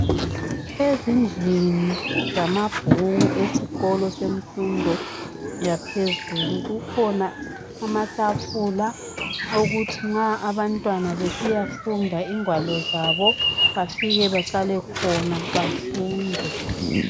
ezindlini zamabhuku esikolo semfundo yaphezulu kukhona amatafula owokuthi nxa abantwana besiyafunda ingwalo zabo befike behlale phansi befunde